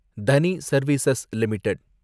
தனி service limited